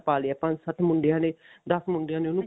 ਪਾ ਲਿਆ ਪੰਜ ਸੱਤ ਮੁੰਡਿਆਂ ਨੇ ਦਸ ਮੁੰਡਿਆਂ ਨੇ ਉਹਨੂੰ